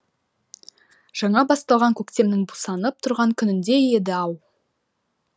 жаңа басталған көктемнің бусанып тұрған күніндей еді ау